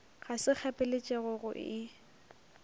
ga se kgapeletšego go e